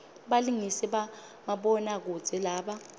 balingisi bamabona kudze laba